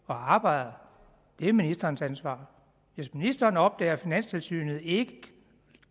og arbejder er ministerens ansvar hvis ministeren opdager at finanstilsynet ikke